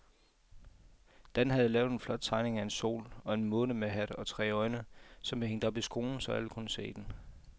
Dan havde lavet en flot tegning af en sol og en måne med hat og tre øjne, som blev hængt op i skolen, så alle kunne se den.